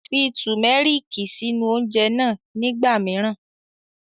Fi Tùmẹ́rìkì sínú oúnjẹ náà nígbà míràn